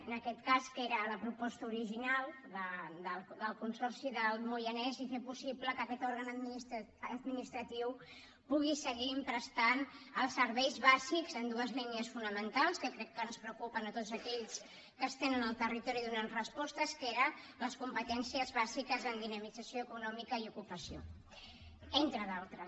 en aquest cas que era a la proposta original del consorci del moianès i fer possible que aquest òrgan administratiu pugui seguir prestant els serveis bàsics en dues línies fonamentals que jo crec que ens preocupen a tots aquells que estem en el territori donant respostes que eren les competències bàsiques en dinamització econòmica i ocupació entre d’altres